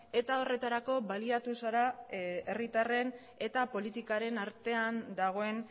eta horretarako baliatu zara herritarren eta politikaren artean dagoen